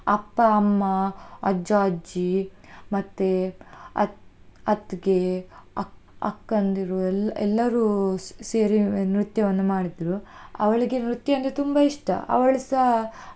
ಅಪ್ಪ, ಅಮ್ಮ, ಅಜ್ಜ, ಅಜ್ಜಿ ಮತ್ತೆ ಅತ್ತ್~ ಅತ್ತಿಗೆ, ಅಕ್ಕ್~ ಅಕ್ಕಂದಿರು ಎಲ್~ ಎಲ್ಲರೂ ಸೇರಿ ನೃತ್ಯವನ್ನು ಮಾಡಿದ್ದೆವು, ಅವಳಿಗೆ ನೃತ್ಯ ಅಂದ್ರೆ ತುಂಬಾ ಇಷ್ಟ ಅವಳುಸ.